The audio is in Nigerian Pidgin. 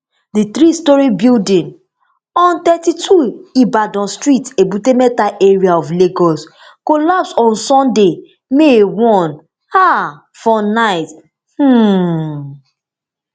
di three storey building on thirty-two ibadan street ebute metta area of lagos collapse on sunday may one um for night um